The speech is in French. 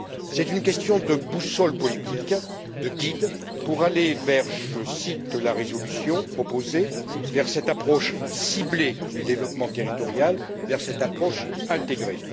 C'est une question de boussole politique, de guide pour aller, je cite la résolution proposée, vers cette approche ciblée du développement territorial, vers cette approche intégrée.